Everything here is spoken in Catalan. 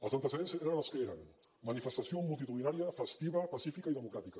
els antecedents eren els que eren manifestació multitudinària festiva pacífica i democràtica